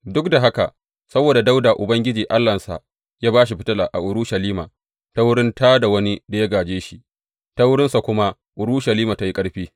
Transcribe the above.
Duk da haka, saboda Dawuda Ubangiji Allahnsa ya ba shi fitila a Urushalima ta wurin ta da wani da ya gāje shi, ta wurinsa kuma Urushalima ta yi ƙarfi.